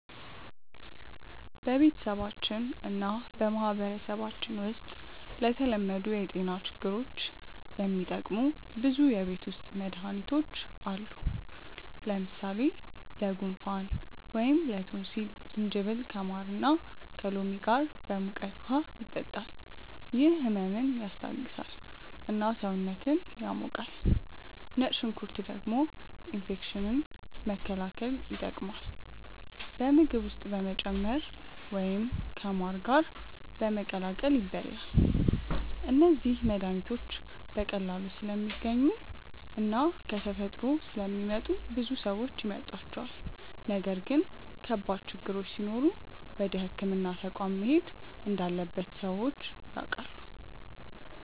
በቤተሰባችን እና በማህበረሰባችን ውስጥ ለተለመዱ የጤና ችግሮች የሚጠቀሙ ብዙ የቤት ውስጥ መድሃኒቶች አሉ። ለምሳሌ ለጉንፋን ወይም ላቶንሲል ጅንጅብል ከማር እና ከሎሚ ጋር በሙቀት ውሃ ይጠጣል፤ ይህ ህመምን ያስታግሳል እና ሰውነትን ያሞቃል። ነጭ ሽንኩርት ደግሞ ኢንፌክሽን መከላከል ይጠቀማል፣ በምግብ ውስጥ በመጨመር ወይም ከማር ጋር በመቀላቀል ይበላል። እነዚህ መድሃኒቶች በቀላሉ ስለሚገኙ እና ከተፈጥሮ ስለሚመጡ ብዙ ሰዎች ይመርጧቸዋል። ነገር ግን ከባድ ችግሮች ሲኖሩ ወደ ሕክምና ተቋም መሄድ እንዳለበት ሰዎች ያውቃሉ።